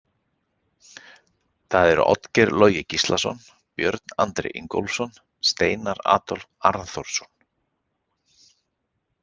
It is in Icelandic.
Það eru Oddgeir Logi Gíslason, Björn Andri Ingólfsson, Steinar Adolf Arnþórsson.